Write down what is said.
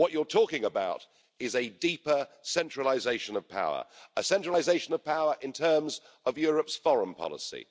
What you're talking about is a deeper centralisation of power a centralisation of power in terms of Europe's foreign policy